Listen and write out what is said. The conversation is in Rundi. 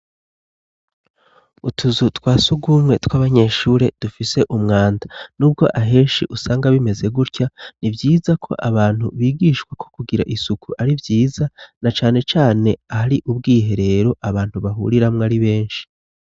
Utuzu twa si ugumwe tw'abanyeshure dufise umwanda n'ubwo aheshi usanga bimeze gutya ni vyiza ko abantu bigishwako kugira isuku ari vyiza na canecane ahari ubwihe rero abantu bahuriramwo ari benshi.